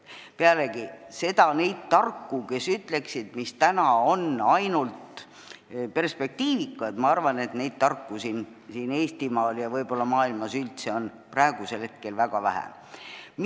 Pealegi, neid tarku, kes ütleksid, mis täna on perspektiivikas, ma arvan, on siin Eestimaal ja võib-olla maailmas üldse praegu väga vähe.